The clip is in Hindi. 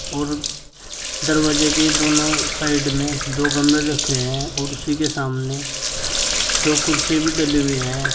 और दरवाजे के दोनों साइड में दो गमले रखे हैं और उसी के सामने दो कुर्सी भी डली हुई हैं।